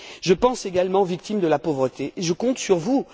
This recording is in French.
Je pense également aux victimes de la pauvreté et je compte sur vous.